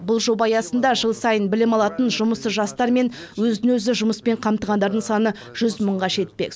бұл жоба аясында жыл сайын білім алатын жұмыссыз жастар мен өзін өзі жұмыспен қамтығандардың саны жүз мыңға жетпек